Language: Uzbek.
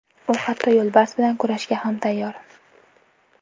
U hatto yo‘lbars bilan kurashga ham tayyor.